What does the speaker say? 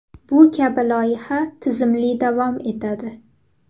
Bu kabi loyiha tizimli davom etadi.